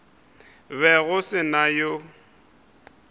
be go se na yo